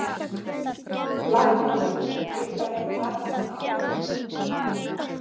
Læknarnir vildu ekki taka neina áhættu.